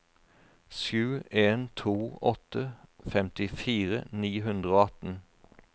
sju en to åtte femtifire ni hundre og atten